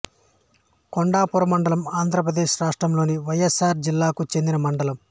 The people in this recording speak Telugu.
కొండాపురం మండలం ఆంధ్రప్రదేశ్ రాష్ట్రంలోని వైఎస్ఆర్ జిల్లాకు చెందిన మండలం